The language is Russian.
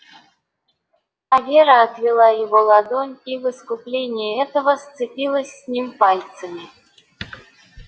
а вера отвела его ладонь и в искупление этого сцепилась с ним пальцами